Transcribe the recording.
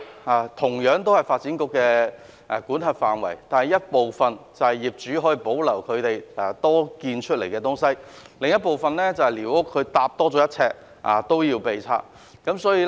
儘管兩者同屬發展局的管轄範圍，但業主多建的小型適意設施可以保留，寮屋卻是多建1呎便會被拆。